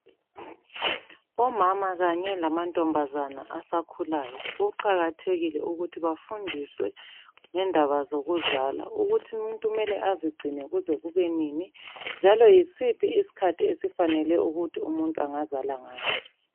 Omama kanye lamantombazane asakhulayo kuqakathekile ukuthi bafundiswe ngandaba zokuzala. Ukuthi umuntu kumele azigcine kuze kubenini njalo yisiphi isikhathi esifanele ukuthi umuntu angazala ngaso.